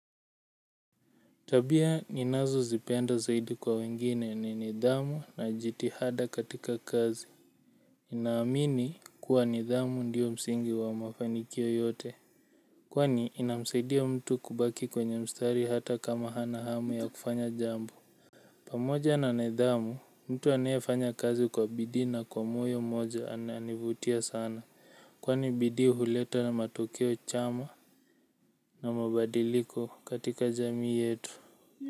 Tabia ninazozipenda zaidi kwa wengine ni nidhamu na jitihada katika kazi. Naamini kuwa nidhamu ndiyo msingi wa mafanikio yote kwani inamsaidia mtu kubaki kwenye mstari hata kama hana hamu ya kufanya jambo pamoja na nidhamu mtu aneefanya kazi kwa bidii na kwa moyo moja ananivutia sana kwani bidii huleta matukio chama na mabadiliko katika jamii yetu.